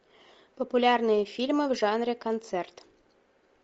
популярные фильмы в жанре концерт